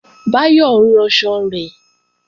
Báyọ̀ ń ranṣan rẹ̀